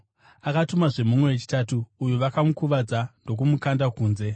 Akatumazve mumwe wechitatu, uyu vakamukuvadza ndokumukanda kunze.